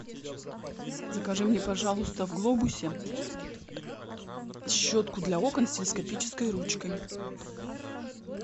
закажи мне пожалуйста в глобусе щетку для окон с телескопической ручкой